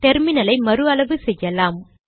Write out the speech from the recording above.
டெர்மினலை மறு அளவு செய்வோம்